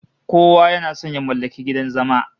Kowa yana son ya mallaki gidan zama